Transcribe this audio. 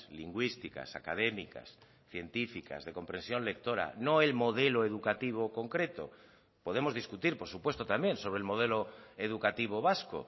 lingüísticas académicas científicas de compresión lectora no el modelo educativo concreto podemos discutir por supuesto también sobre el modelo educativo vasco